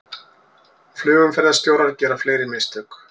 Flugumferðarstjórar gera fleiri mistök